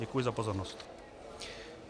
Děkuji za pozornost.